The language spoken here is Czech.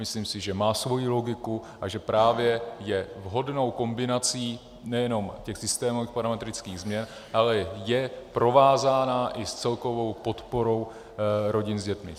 Myslím si, že má svoji logiku a že právě je vhodnou kombinací nejenom těch systémových parametrických změn, ale je provázána i s celkovou podporou rodin s dětmi.